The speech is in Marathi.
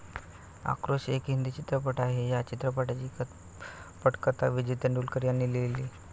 आक्रोश एक हिंदी चित्रपट आहे. या चित्रपटाची पटकथा विजय तेंडुलकर यांनी लिहिली.